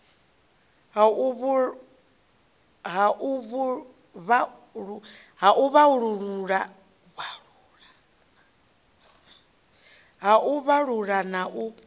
ha u vhalula na u